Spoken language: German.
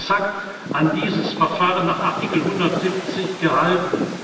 Ich habe mich exakt an dieses Verfahren nach Artikel 170 gehalten.